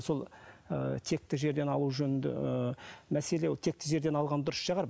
сол ы текті жерден алу жөнінде ііі мәселе ол текті жерден алған дұрыс шығар